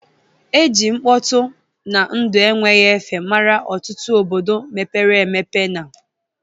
E ji mkpọtụ na ndụ enweghị efe were mara ọtụtụ obodo mepere emepe na